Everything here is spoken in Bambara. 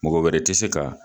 Mɔgɔ wɛrɛ tɛ se ka